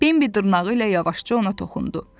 Bembi dırnağı ilə yavaşca ona toxundu.